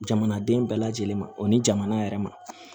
Jamanaden bɛɛ lajɛlen ma o ni jamana yɛrɛ ma